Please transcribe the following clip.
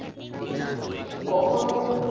কখনো।